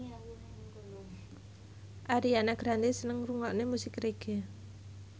Ariana Grande seneng ngrungokne musik reggae